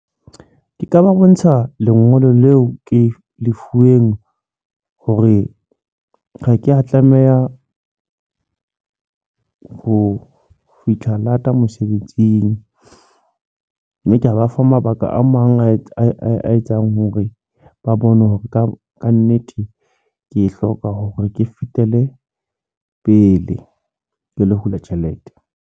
Ke ka ba bontsha lengolo leo ke le fueng, hore ha ke a tlameha ho fihla lata mosebetsing. Mme ke a ba fa mabaka a mang a etsang hore ba bone hore ka ka nnete ke hloka hore ke fetele pele. Ke lo hula tjhelete.